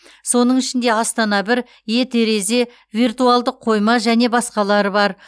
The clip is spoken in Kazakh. соның ішінде астана бір е терезе виртуалдық қойма және басқалары бар